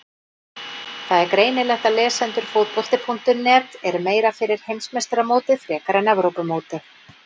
Það er greinilegt að lesendur Fótbolti.net eru meira fyrir Heimsmeistaramótið frekar en Evrópumótið.